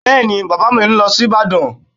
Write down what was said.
Bẹ́ẹ̀ni, Bàbá mi ń lọ sí Ìbàdàn